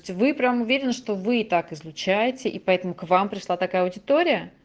вы прямо уверен что вы так изучаете и поэтому к вам пришла такая аудитория